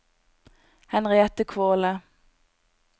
Henriette Kvåle